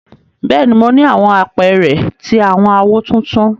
Bẹ́ẹ̀ni, mo ni àwọn àpẹrẹ ti awọn áwó tuntun.